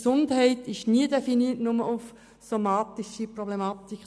Gesundheit ist nie nur bezogen auf die Definition einer somatischen Problematik.